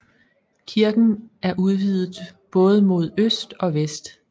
Kirken er udvidet både mod øst og vest